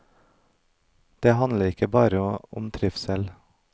Det handler ikke bare om trivsel.